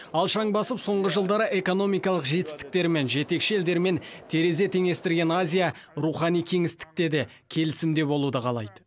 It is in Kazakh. алшаң басып соңғы жылдары экономикалық жетістіктерімен жетекші елдермен терезе теңестірген азия рухани кеңістікте де келісімде болуды қалайды